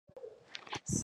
Sapatu ya moyindo